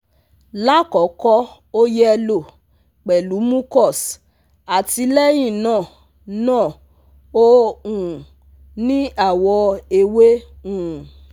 Lakoko o yello pelu mucus ati lehina na o um ni awo ewe um